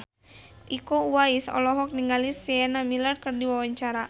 Iko Uwais olohok ningali Sienna Miller keur diwawancara